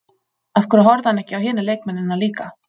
Af hverju horfði hann ekki á hina leikmennina líka?